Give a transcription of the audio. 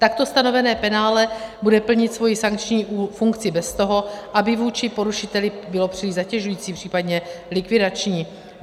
Takto stanovené penále bude plnit svoji sankční funkci bez toho, aby vůči porušiteli bylo příliš zatěžující, případně likvidační.